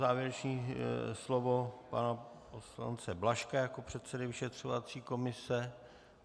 Závěrečné slovo pana poslance Blažka jako předsedy vyšetřovací komise.